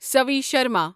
Savi Sharma